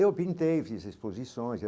Eu pintei fiz exposições.